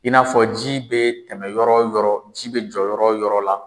I n'afɔ ji bɛ tɛmɛ yɔrɔ o yɔrɔ, ji bɛ jɔ yɔrɔ o yɔrɔ la.